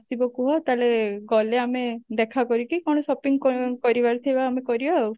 ଆସିବ କୁହ ତାହାଲେ ଗଲେ ଆମେ ଦେଖା କରିକି କଣ shopping କ କରିବାର ଥିବ ଆମେ କରିବା ଆଉ